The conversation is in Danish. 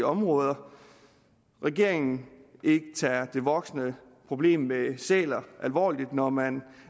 områder at regeringen ikke tager det voksende problem med sæler alvorligt når man